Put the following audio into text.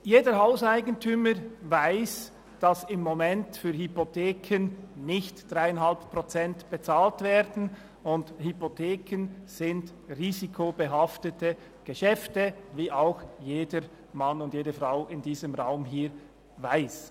Jeder Hauseigentümer weiss, dass im Moment für Hypotheken nicht 3,5 Prozent Zins bezahlt werden, und Hypotheken sind risikobehaftete Geschäfte, wie jedermann und jedefrau in diesem Raum hier weiss.